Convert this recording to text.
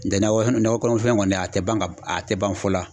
N tɛ nakɔ kɔnɔfɛn kɔni a tɛ ban ka a tɛ ban fɔ la.